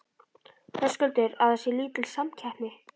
Höskuldur: Að það sé lítil samkeppni?